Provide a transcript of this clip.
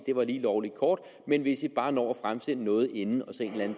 var lige lovlig kort men hvis de bare når at fremsende noget inden